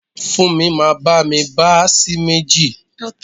Funmi máa bá mi bá sì méjì.